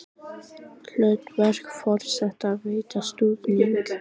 Hlutverk forseta að veita stuðning